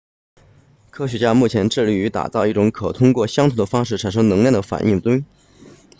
科学家目前致力打造一种可通过相同的方式产生能量的反应堆